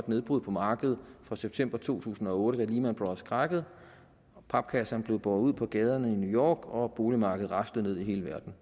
nedbrud på markedet fra september to tusind og otte da lehman brothers krakkede og papkasserne blev båret ud på gaderne i new york og boligmarkedet raslede ned i hele verden